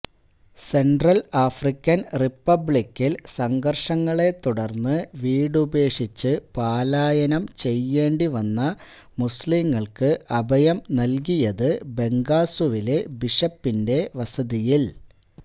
central African റിപ്പബ്ലിക്കില് സംഘര്ഷങ്ങളെ തുടര്ന്നു വീടുപേക്ഷിച്ചു പലായനം ചെയ്യേണ്ടി വന്ന മുസ്ലീങ്ങള്ക്ക് അഭയം നല്കിയത് ബംഗാസുവിലെ ബിഷപ്പിന്റെ വസതിയില്